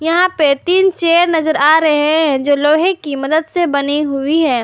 यहां पे तीन चेयर नजर आ रहे हैं जो लोहे की मदद से बनी हुई है।